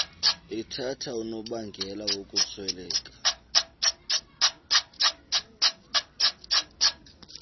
ethatha unobangela wokusweleka